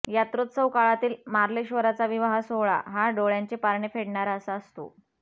यात्रौत्सव काळातील मार्लेश्वराचा विवाह सोहळा हा डोळ्यांचे पारणे फेडणारा असा असतो